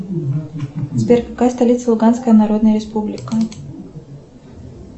сбер какая столица луганская народная республика